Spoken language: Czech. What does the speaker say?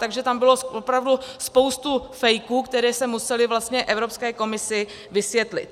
Takže tam bylo opravdu spoustu fejků, které se musely vlastně Evropské komisi vysvětlit.